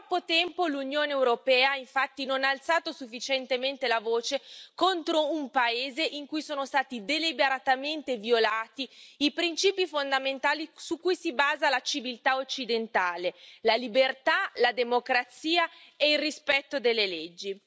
Per troppo tempo, l'Unione europea, infatti, non ha alzato sufficientemente la voce contro un paese in cui sono stati deliberatamente violati i principi fondamentali su cui si basa la civiltà occidentale, la libertà, la democrazia e il rispetto delle leggi.